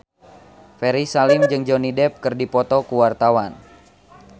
Ferry Salim jeung Johnny Depp keur dipoto ku wartawan